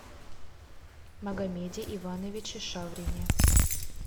магомеде ивановиче шаврине